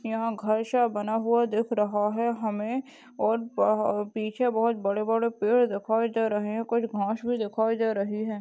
यहाँ घर शा बना हुआ दिख रहा है हमे और ब अ पीछे बहोत बड़े-बड़े पेड़ दिखाई दे रहे है कुछ घास भी दिखाई दे रही है।